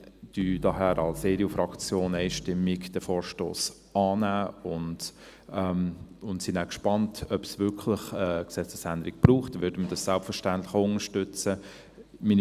Wir nehmen daher als EDU-Fraktion diesen Vorstoss einstimmig an und sind dann gespannt, ob es wirklich eine Gesetzesänderung braucht, die wir dann selbstverständlich auch unterstützen würden.